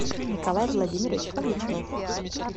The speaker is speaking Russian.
николай владимирович фомичев